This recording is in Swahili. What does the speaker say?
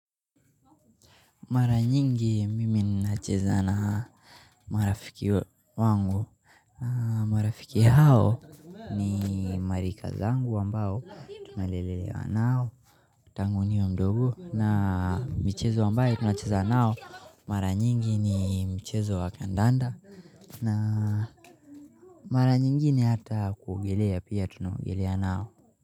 Mara nyingi mimi ninacheza na marafiki wangu. Na marafiki hao ni marika zangu ambao tunalelelewa nao. Tangu niwe mdogo na michezo ambayo tunacheza nao mara nyingi ni mchezo wa kandanda na mara nyingine hata kuogelea pia tunaogelea nao.